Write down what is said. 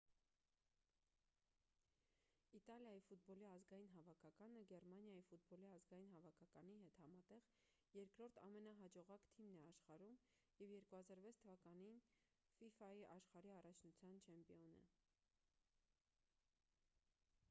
իտալիայի ֆուտբոլի ազգային հավաքականը գերմանիայի ֆուտբոլի ազգային հավաքականի հետ համատեղ երկրորդ ամենահաջողակ թիմն է աշխարհում և 2006 թվականին ֆիֆա-ի աշխարհի առաջնության չեմպիոն է